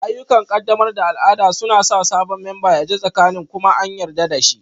Ayyukan ƙaddamar da al'ada suna sa sabon memba ya ji tsakanin kuma an yarda da shi